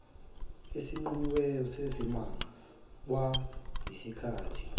esinqunyiweyo sezimanga kwakuyisikhathi